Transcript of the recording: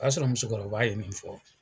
O y'a sɔrɔ musokɔrɔba ye min fɔ.